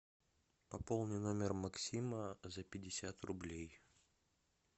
пополни номер максима за пятьдесят рублей